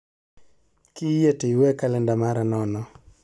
Kiyie to iwe kaklenda mara nono